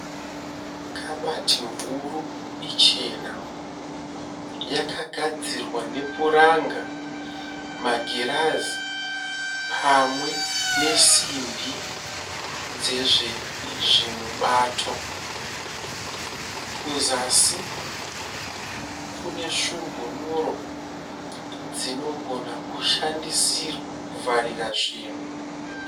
Kabati huru ichena. Yakadzirwa nepuranga, magirazi pamwe nesimbi dzezvimubato. Kuzasi kune svumbunuro dzinogona kushandisirwa kuvharira zvinhu.